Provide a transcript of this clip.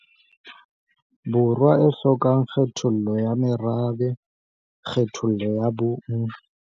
Borwa e hlokang kgethollo ya merabe, kgethollo ya bong, e nang le demokrasi, e nang le katleho mme e lokolohile.